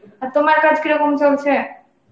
তোমার কাজ কিরম চলছে